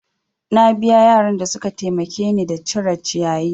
Na biya yaran da suka taimake ni da cire ciyayi.